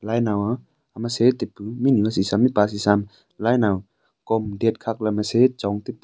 lainau a ama sey tipu mihnu hasihsaam mihpa hasihsaam lainau kom dat khak la ama sey chong tipu.